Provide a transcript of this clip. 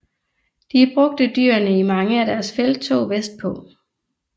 De brugte dyrene i mange af deres felttog vestpå